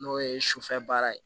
N'o ye sufɛ baara ye